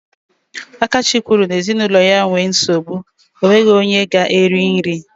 Akachi kwuru n'ezinụlọ ya nwee nsogbu, enweghị onye ga-eri nri.